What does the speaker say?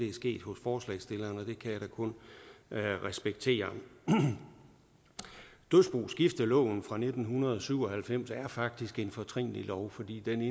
er sket hos forslagsstillerne og det kan jeg da kun respektere dødsboskifteloven fra nitten syv og halvfems er faktisk en fortrinlig lov fordi den